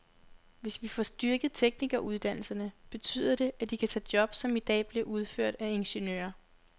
Hvis vi får styrket teknikeruddannelserne, betyder det, at de kan tage job, som i dag bliver udført af ingeniører.